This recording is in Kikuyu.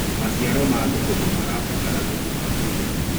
maciaro ma thukuma marabatara thumu wa kũigana